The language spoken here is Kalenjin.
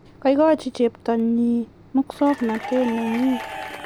koikochi cheptonnyi mwusognatet nenyi